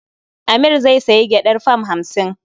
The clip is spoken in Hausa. Amir zai sayi gyaɗar fam hamsin.